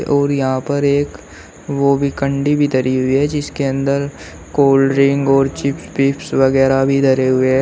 और यहां पर एक वो भी कंडी भी धरी हुई है जिसके अंदर कोल्ड ड्रिंक और चिप्स वगैरा भी धरे हुए है।